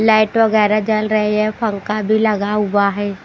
Light वगैर जल रहे हैं पंखा भी लगा हुआ है।